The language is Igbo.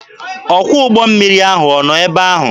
Ọkwọ ụgbọ mmiri ahụ ọ nọ ebe ahụ?